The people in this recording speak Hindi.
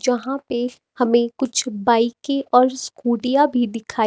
यहां पे हमें कुछ बाईकें और स्कूटियां भी दिखाई--